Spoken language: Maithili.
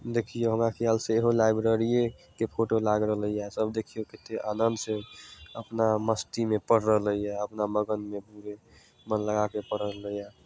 लाइब्रेरी के फोटो लाग रहले ये सब देखियों कते आनंद से अपना मस्ती मे पढ़ रहले ये अपना मगन मे पूरा मन लगा के पढ़ रहले ये।